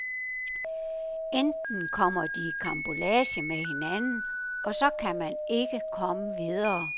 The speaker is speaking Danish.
Enten kommer de i karambolage med hinanden, og så kan man ikke komme videre.